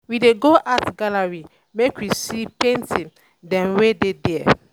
I see plenty artwork wey dem um showcase for di art exhibition.